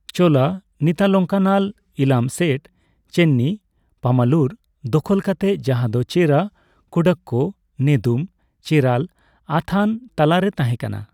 ᱪᱳᱞᱟ ᱱᱤᱛᱟᱞᱚᱝᱠᱟᱱᱟᱞ ᱤᱞᱟᱢ ᱥᱮᱴ ᱪᱮᱱᱱᱤ ᱯᱟᱢᱟᱞᱩᱨ ᱫᱚᱠᱷᱚᱞ ᱠᱟᱛᱮᱫ, ᱡᱟᱦᱟᱸ ᱫᱚ ᱪᱮᱨᱟ ᱠᱩᱰᱰᱟᱠᱠᱳ ᱱᱮᱫᱩᱢ ᱪᱮᱨᱟᱞ ᱟᱛᱷᱟᱱ ᱛᱟᱞᱟ ᱨᱮ ᱛᱟᱦᱮᱸᱠᱟᱱᱟ ᱾